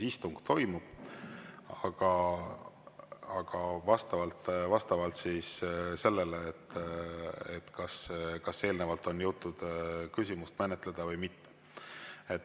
Istung toimub, aga vastavalt sellele, kas eelnevalt on jõutud küsimust menetleda või mitte.